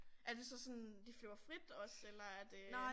Er det sådan de flyver frit også eller er det?